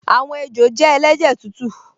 Àwọn ejò jẹ́ ẹlẹ́jẹ̀ tútù